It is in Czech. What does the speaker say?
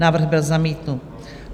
Návrh byl zamítnut.